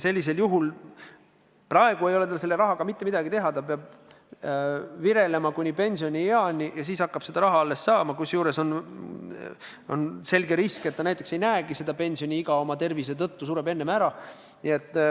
Sellisel juhul ta praegu ei saa selle rahaga mitte midagi teha, ta peab virelema kuni pensionieani ja alles siis hakkab seda raha saama, kusjuures on selge risk, et ta ei näegi pensioniiga oma tervise tõttu, sureb enne ära.